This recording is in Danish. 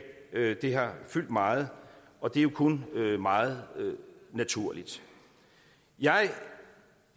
det har fyldt meget og det er jo kun meget naturligt jeg